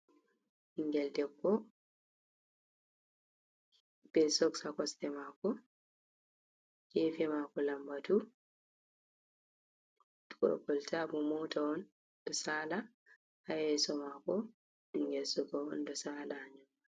Ɓinngel debbo be soks a kosɗe maako, geefe maako lambatu. Dow kolta bo moota on, ɗo saala, haa yeeso maako ɓinngel suka on, ɗon saala.